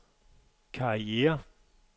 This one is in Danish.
karriere